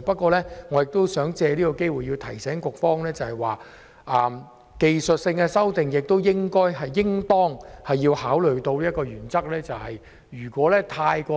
不過，我想藉此機會提醒局方，技術性修訂應當考慮的一個原則是，如果